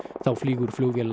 þá flýgur flugvél